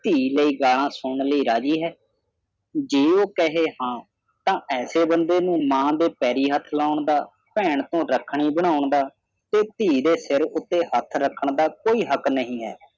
ਧੀ ਲਈ ਗਾਲਾਂ ਸੁਣਨ ਲਈ ਰਾਜ਼ੀ ਹੈ ਜੇ ਉਹ ਕਹੇ ਹਾਂ ਤੇ ਐਸੇ ਬੰਦੇ ਨੂੰ ਨਾ ਤੇ ਪੈਰੀਂ ਹੱਥ ਲਾਉਣ ਦਾ ਭੈਣ ਤੋਂ ਰੱਖੜੀ ਬਣਾਉਣ ਦਾ ਤੇ ਧੀ ਦੇ ਸਿਰ ਤੇ ਹੱਥ ਰੱਖਣ ਦਾ ਕੋਈ ਹੱਕ ਨਹੀਂ ਹੈ